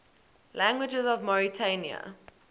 languages of mauritania